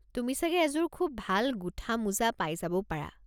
তুমি চাগে এযোৰ খুব ভাল গোঁঠা মোজা পাই যাবও পাৰা।